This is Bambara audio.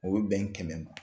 O be bɛn kɛmɛ ma.